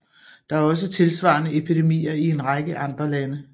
Der er også tilsvarende epidemier i en række andre lande